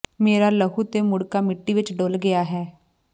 ਮੇਰਾ ਲਹੂ ਤੇ ਮੁੜ੍ਹਕਾ ਮਿੱਟੀ ਵਿੱਚ ਡੁੱਲ੍ਹ ਗਿਆ ਹੈ